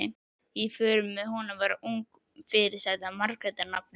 Í för með honum var ung fyrirsæta, Margrét að nafni.